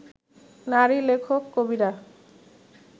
নারী-লেখক-কবিরা